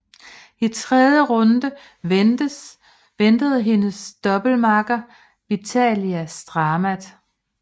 I tredje runde ventede hendes doublemakker Vitalia Stamat